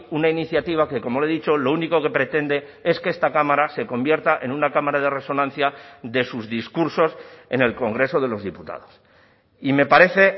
una iniciativa que como le he dicho lo único que pretende es que esta cámara se convierta en una cámara de resonancia de sus discursos en el congreso de los diputados y me parece